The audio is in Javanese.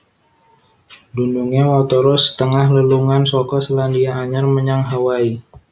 Dunungé watara setengah lelungan saka Selandia Anyar menyang Hawaii